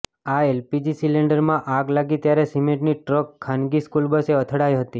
આ એલપીજી સિલેન્ડરમાં આગ લાગી ત્યારે સિમેન્ટની ટ્રક ખાનગી સ્કૂલ બસે અથડાઇ હતી